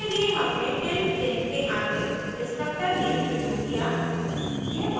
इसके लिए हमने tilde चिन्ह के आगे destructors नेम प्रयोग किया